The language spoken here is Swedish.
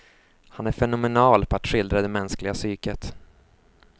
Han är fenomenal på att skildra det mänskliga psyket.